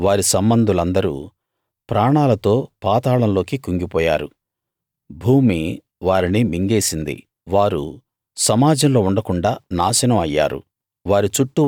వారూ వారి సంబంధులందరూ ప్రాణాలతో పాతాళంలోకి కుంగిపోయారు భూమి వారిని మింగేసింది వారు సమాజంలో ఉండకుండాా నాశనం అయ్యారు